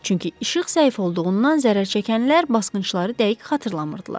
Çünki işıq zəif olduğundan zərərçəkənlər basqınçıları dəqiq xatırlamırdılar.